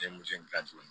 Den muso in ta tun ye